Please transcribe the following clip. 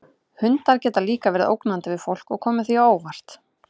Hundar geta líka verið ógnandi við fólk og komið því á óvart.